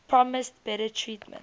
promised better treatment